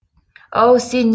ау сен